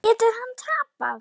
Getur hann tapað!